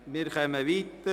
Geschäft 2018.RRGR.33